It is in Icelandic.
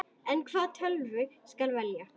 En hvaða tölvu skal velja?